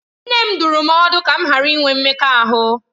Nne m dụrụ m ọdụ ka m ghara inwe mmekọahụ